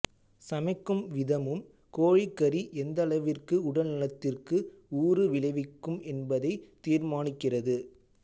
சமைக்கும் விதமும் கோழிக்கறி எந்தளவிற்கு உடல்நலத்திற்கு ஊறு விளைவிக்கும் என்பதை தீர்மானிக்கிறது